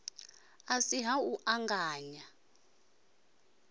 a si ha u anganya